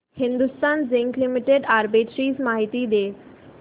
Hindustan zinc limited arbitrage माहिती दे